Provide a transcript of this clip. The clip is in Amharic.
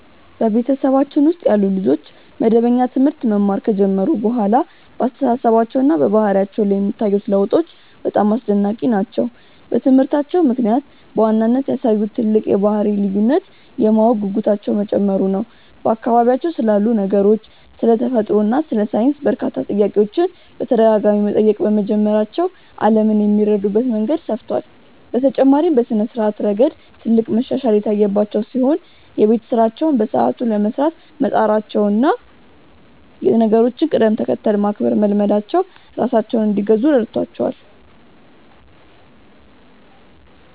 በቤተሰባችን ውስጥ ያሉ ልጆች መደበኛ ትምህርት መማር ከጀመሩ በኋላ በአስተሳሰባቸውና በባህሪያቸው ላይ የሚታዩት ለውጦች በጣም አስደናቂ ናቸው። በትምህርታቸው ምክንያት በዋናነት ያሳዩት ትልቅ የባህሪ ልዩነት የማወቅ ጉጉታቸው መጨመሩ ነው፤ በአካባቢያቸው ስላሉ ነገሮች፣ ስለ ተፈጥሮ እና ስለ ሳይንስ በርካታ ጥያቄዎችን በተደጋጋሚ መጠየቅ በመጀመራቸው ዓለምን የሚረዱበት መንገድ ሰፍቷል። በተጨማሪም በስነ-ስርዓት ረገድ ትልቅ መሻሻል የታየባቸው ሲሆን፣ የቤት ስራቸውን በሰዓቱ ለመስራት መጣራቸውና የነገሮችን ቅደም-ተከተል ማክበር መልመዳቸው ራሳቸውን እንዲገዙ ረድቷቸዋል።